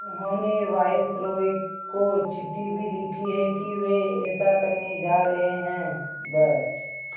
उन्होंने वायसरॉय को चिट्ठी भी लिखी है कि वे ऐसा करने जा रहे हैं ब्